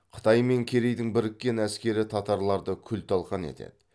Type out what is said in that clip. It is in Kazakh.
қытай мен керейдің біріккен әскері татарларды күл талқан етеді